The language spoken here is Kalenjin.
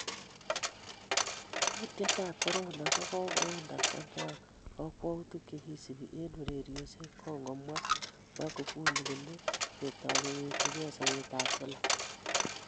Kuutietab Korona:Kokokoon Tanzania kokwautik che kisubi eng ureriosyek kongomwa Magufuli kole ketoi kewekchigei sobet ab kila